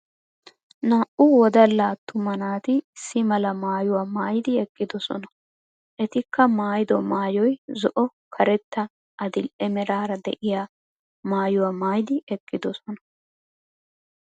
Naa'u wodalla attuma naati issi mala maayuwaa maayidi eqqidosona. Etikka maayido maayoy zo,o karetta adil'e meraara deiya maayuwaa maayidi eqqidosona.